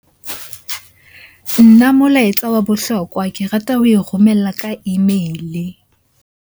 Nna molaetsa wa bohlokwa ke rata ho e romela ka email-e.